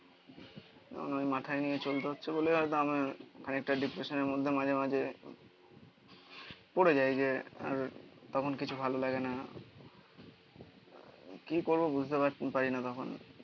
এখন ওই মাথায় নিয়ে চলতে হচ্ছে বলে খানিকটা ডিপ্রেশান এর মধ্যে মাঝে মাঝে পড়ে যায় যে আর তখন কিছু ভালো লাগে না কি করবো বুঝতে পারছি না পারি না